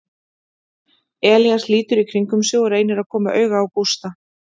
Elías lítur í kringum sig og reynir að koma auga á Gústa.